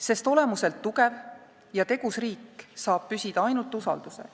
Sest olemuselt tugev ja tegus riik saab püsida ainult usaldusel.